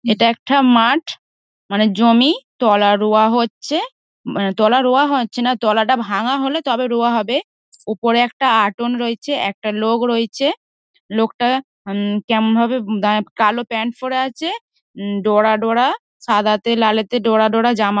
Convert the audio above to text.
এটা একটা মাঠ মানে জমি তলা রোয়া হচ্ছে। তলা রোয়া হচ্ছে না তলাটা ভাঙ্গা হলে তবে রোয়া হবে ।উপরে একটা অটোন রয়েচে একটা লোক রয়েচে। লোকটা উম কেমনভাবে কালো প্যান্ট পরে আচে। হু ডোরা ডোরা সাদাতে লালেতে ডোরা ডোরা জামা।